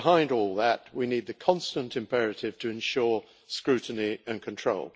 Behind all that, we need the constant imperative to ensure scrutiny and control.